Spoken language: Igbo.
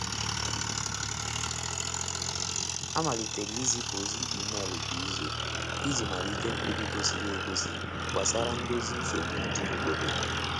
A malitere izipu ozi email kwa izu i ji melite mkpebi gosiiri e gosi gbasara ndozi nsogbu ndị obodo.